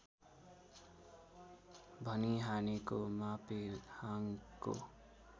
भनी हानेको मापेहाङको